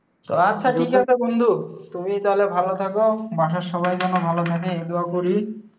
তো আচ্ছা ঠিক আছে বন্ধু, তুমি তাহলে ভালো থাকো, বাসার সবাই যেন ভালো থাকে এই দোয়া করি।